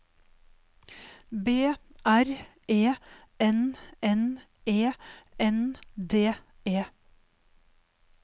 B R E N N E N D E